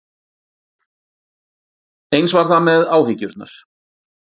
Eins var það með áhyggjurnar.